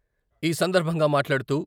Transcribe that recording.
ఈ సందర్భంగా మాట్లాడుతూ....